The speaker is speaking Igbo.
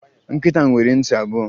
Nkịta nwere ntị abụọ